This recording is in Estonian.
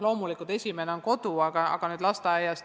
Loomulikult on esimene koht kodu, aga sellele järgneb kohe lasteaed.